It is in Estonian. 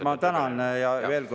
Ma tänan!